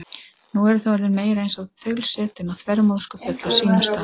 Nú eru þau orðin meira eins og þaulsætin og þvermóðskufull á sínum stað.